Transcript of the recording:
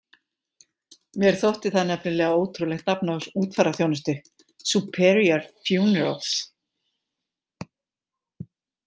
Mér þótti það nefnilega ótrúlegt nafn á útfararþjónustu, Superior Funerals.